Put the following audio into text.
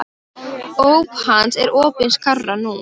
Óp hans er opin skárra nú.